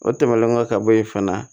O tɛmɛnen kɔ ka bɔ yen fana